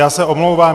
Já se omlouvám.